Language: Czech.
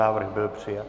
Návrh byl přijat.